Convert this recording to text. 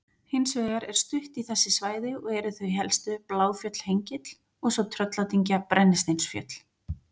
Hins vegar er stutt í þessi svæði og eru þau helstu Bláfjöll-Hengill og svo Trölladyngja-Brennisteinsfjöll.